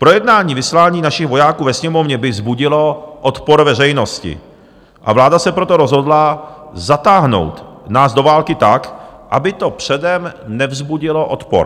Projednání vyslání našich vojáků ve Sněmovně by vzbudilo odpor veřejnosti, a vláda se proto rozhodla zatáhnout nás do války tak, aby to předem nevzbudilo odpor.